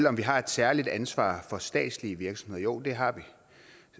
om vi har et særligt ansvar for statslige virksomheder jo det har vi